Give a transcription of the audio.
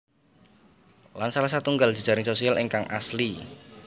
Lan salah satunggal jejaring sosial ingkang asli